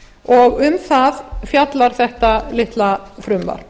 og um það fjallar þetta litla frumvarp